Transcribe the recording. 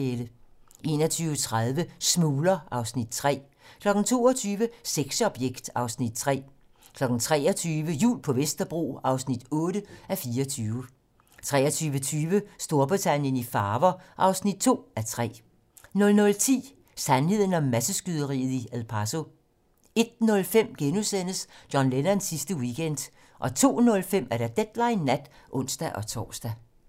21:30: Smugler (Afs. 3) 22:00: Sexobjekt (Afs. 3) 23:00: Jul på Vesterbro (8:24) 23:20: Storbritannien i farver (2:3) 00:10: Sandheden om masseskyderiet i El Paso 01:05: John Lennons sidste weekend * 02:05: Deadline nat (ons-tor)